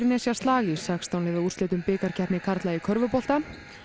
Suðurnesjaslag í sextán liða úrslitum bikarkeppni karla í körfubolta